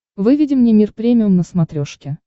выведи мне мир премиум на смотрешке